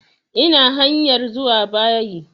Ina hanyar zuwa bayi